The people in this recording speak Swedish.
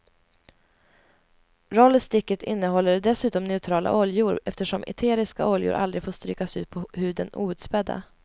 Rollersticket innehåller dessutom neutrala oljor eftersom eteriska oljor aldrig får strykas ut på huden outspädda.